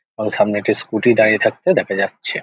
আর সামনে একটি স্কুটি দাঁড়িয়ে থাকতে দেখা যাচ্ছে।